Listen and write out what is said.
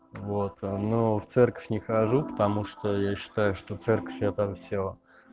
вот ну в церковь не хожу потому что я считаю что в церковь я там всё